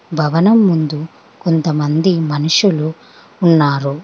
భవనం ముందు కొంతమంది మనుషులు ఉన్నారు.